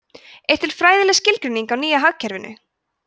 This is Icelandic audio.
er til fræðileg skilgreining á nýja hagkerfinu